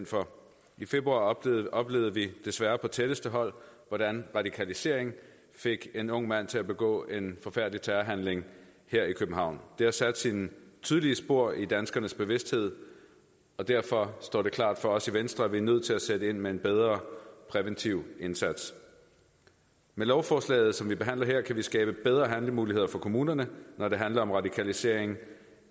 for i februar oplevede vi desværre på tætteste hold hvordan radikalisering fik en ung mand til at begå en forfærdelig terrorhandling her i københavn det har sat sine tydelige spor i danskernes bevidsthed og derfor står det klart for os i venstre at vi er nødt til at sætte ind med en bedre præventiv indsats med lovforslaget som vi behandler her kan vi skabe bedre handlemuligheder for kommunerne når det handler om radikalisering